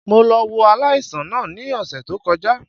Mo lọ wo aláìsàn náà ní òsè tó kọjá